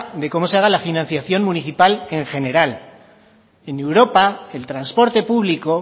de cómo se haga la financiación municipal en general en europa el transporte público